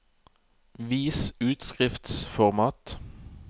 Vis utskriftsformat